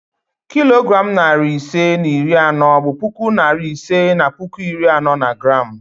Kilogram narị ise na iri anọ bụ puku narị ise na puku iri anọ na gram